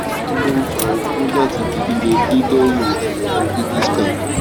kí ni ó ń fa okó láti di lílelí lẹyìn àyẹwò rigiscan